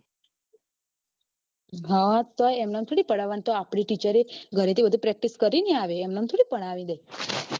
હતો એમ એમ થોડી પધાવવાની આપડી teacher એ ઘરે થી practice કરીને આવે એમ એમ થોડી ભણાવે